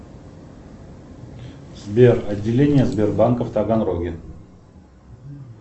сбер отделение сбербанка в таганроге